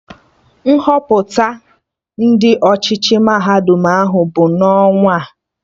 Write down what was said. Nhọpụta Ndị ọchịchị mahadum ahụ bụ n'ọnwaa